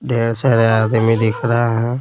ढेर सारे आदमी दिख रहा है।